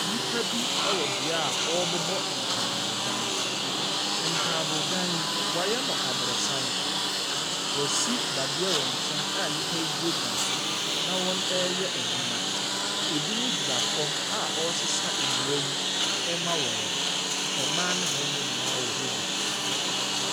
Nnipa bi wɔ beaeɛ a wɔrebobɔ ntaabodan. Ntaabodan yi, wɔayɛ no aborosan. Wɔasi dadeɛ wɔ nkyɛn a nnipa yi gyinagyina so na wɔreyɛ adwuma. Ebinom gyina fam a wɔresesa nnua yi rema wɔn. Mmaa ne mmarima nyinaa wɔ hɔ bi.